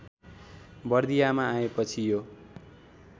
बर्दियामा आएपछि यो